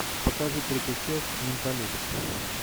покажи третья часть менталист